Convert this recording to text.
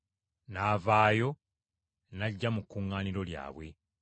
N’avaayo n’ajja mu kuŋŋaaniro lyabwe.